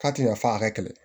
K'a tɛ ɲɛ f'a ka kɛlɛ